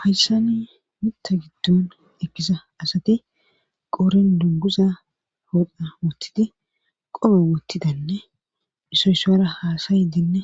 Hayssani mitta giddon ekkisa asati qorin dunguza hodha wottidi qoma wottidanne isoysora haasayidinne